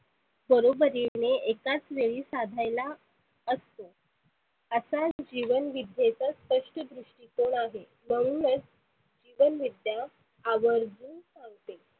बरोबरीने एकाच वेळी साधायला असते. आताच जिवन विद्येच स्पष्ट दृष्टीकोण आहे. म्हणूनच जीवन विद्या आवर्जुन सांगते.